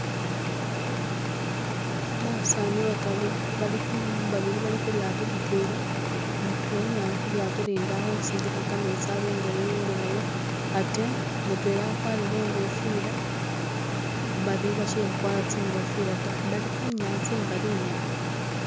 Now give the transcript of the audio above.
Basani bataru balikhu babili balikhulyato litwela mutwela naye ali khulyato lindi alihusindika kametsi abenga yeyongelayo ate mutwela akwarile ingofila babili bashili khukwara tsingofila ta bali khunyatsa ingali inyene